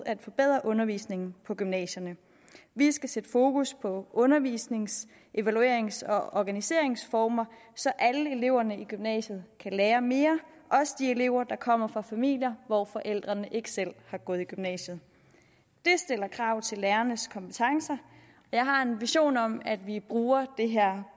at forbedre undervisningen på gymnasierne vi skal sætte fokus på undervisnings evaluerings og organiseringsformer så alle eleverne i gymnasiet kan lære mere også de elever der kommer fra familier hvor forældrene ikke selv har gået i gymnasiet det stiller krav til lærernes kompetencer og jeg har en vision om at vi bruger det her